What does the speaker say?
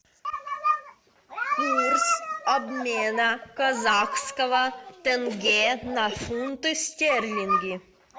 курс обмена казахского тенге на фунты стерлингов